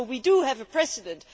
So we do have a precedent.